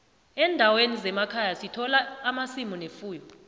endaweni zemakhaya sithola amasimu nefuyo